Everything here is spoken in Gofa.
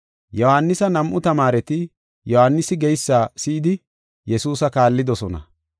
Yohaanisa nam7u tamaareti Yohaanisi geysa si7idi Yesuusa kaallidosona.